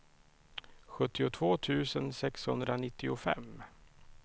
sjuttiotvå tusen sexhundranittiofem